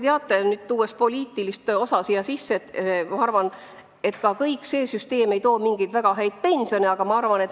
Mis puutub pensionipoliitikasse, siis ma arvan, et ka see süsteem ei too kaasa väga häid pensione.